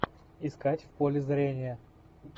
искать в поле зрения